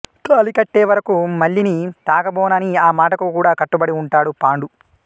తాళి కట్టే వరకు మల్లిని తాకబోనని ఆ మాటకు కూడా కట్టుబడి ఉంటాడు పాండు